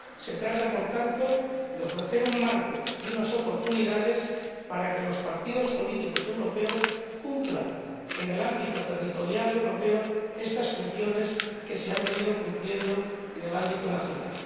Se trata, por tanto, de ofrecer un marco y unas oportunidades para que los partidos políticos europeos cumplan, en el ámbito territorial europeo, estas funciones que se han venido cumpliendo en el ámbito nacional.